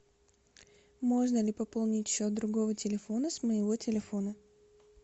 можно ли пополнить счет другого телефона с моего телефона